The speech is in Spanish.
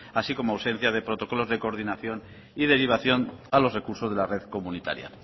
así como ausencia de protocolos de coordinación y derivación a los recursos de la red comunitaria